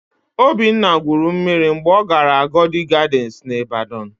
Obinna gwuru mmiri mgbe ọ gara Agodi Gadịnsị n'Ịbadọn.